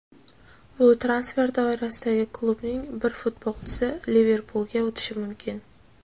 bu transfer doirasida klubning bir futbolchisi "Liverpul"ga o‘tishi mumkin.